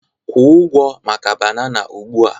Kwụ ụgwọ maka banana ugbu a!